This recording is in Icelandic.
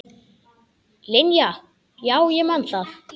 Linja, já ég man það.